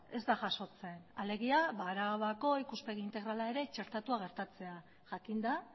ez da jasotzen alegia arabako ikuspegi integrala ere txertatua gertatzea jakinda